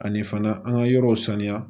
Ani fana an ka yɔrɔw sanuya